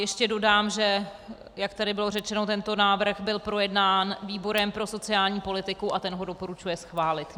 Ještě dodám, že, jak tady bylo řečeno, tento návrh byl projednán výborem pro sociální politiku a ten ho doporučuje schválit.